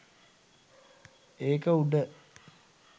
ඒක උඩ